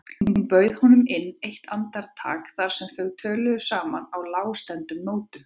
Hún bauð honum inn eitt andartak þar sem þau töluðu saman á lágstemmdum nótum.